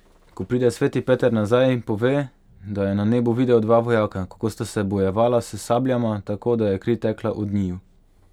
Ko pride sveti Peter nazaj, pove, da je na nebu videl dva vojaka, kako sta se bojevala s sabljama, tako da je kri tekla od njiju.